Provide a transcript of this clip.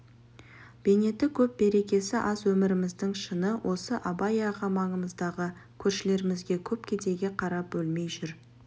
бейнеті көп берекесі аз өміріміздің шыны осы абай аға маңымыздағы көршілерімізге көп кедейге қарап өлмей жүр